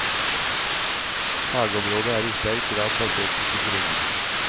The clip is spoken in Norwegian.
Fagområdet er i sterk grad basert på psykologi.